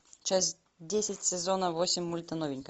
часть десять сезона восемь мульта новенькая